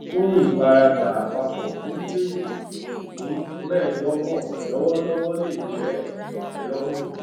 fún ìfaradà àpapọ fún gbèsè ìpín mẹẹdọgbọn lọwọlọwọ lè jẹ ìtẹlọrùn